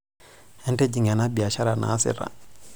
Entijing' ena biashara naasita.